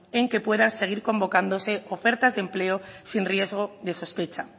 en que pueda seguir convocándose ofertas de empleo sin riesgo de sospecha